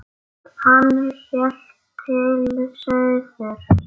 Hann hélt til suðurs.